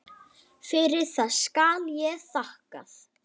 Fyrir það skal hér þakkað.